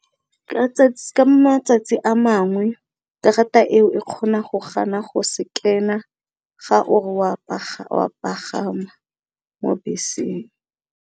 Ka matsatsi a mangwe, karata eo e kgona go gana go sekena ga o re wa pagama mo beseng.